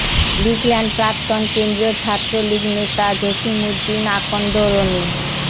লিখলেন প্রাক্তন কেন্দ্রীয় ছাত্রলীগ নেতা জসিম উদ্দিন আকন্দ রনি